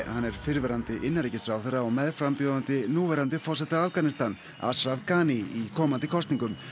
hann er fyrrverandi innanríkisráðherra og meðframbjóðandi núverandi forseta Asraf Ghani í komandi kosningum